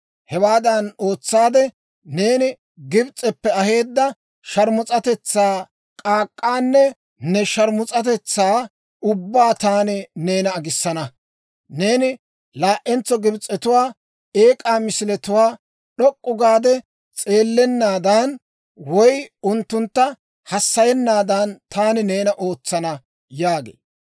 Hewaadan ootsaade, neeni Gibs'eppe aheedda sharmus'atetsaa k'aak'k'aanne ne sharmus'atetsaa ubbaa taani neena agissana. Neeni laa"entso Gibs'etuwaa eek'aa misiletuwaa d'ok'k'u gaade s'eellennaadan, woy unttuntta hassayennaadan, taani neena ootsana› yaagee.